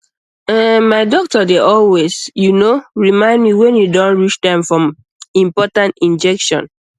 ehn my doctor dey always you know remind me when e don reach time for important injection